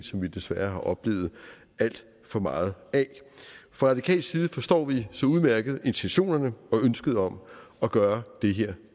som vi desværre har oplevet alt for meget af fra radikal side forstår vi så udmærket intentionerne og ønsket om at gøre det her